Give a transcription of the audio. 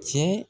Cɛ